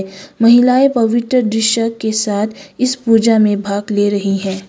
महिलाएं पवित्र दृश्य के साथ इस पूजा में भाग ले रही हैं।